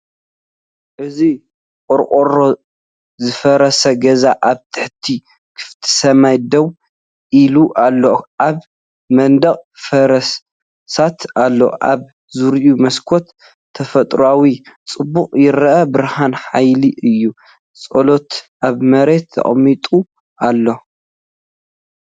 እዚ ቆርቆሩኡዝፈረሰ ገዛ ኣብ ትሕቲ ክፉት ሰማይ ደው ኢሉ ኣሎ። ኣብ መናድቕ ፍርስራሳት ኣሎ፣ ኣብ ዙርያ መስኮት ተፈጥሮኣዊ ጽባቐ ይረአ። ብርሃን ሓያል እዩ፣ ጽላሎት ኣብ መሬት ተቐሚጡ ኣሎ።